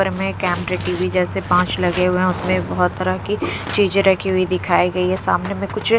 camera _TV जैसे पाँच लगे हुए हैं उसमें बहुत तरह की चीजें रखी हुई दिखाई गई है सामने में कुछ --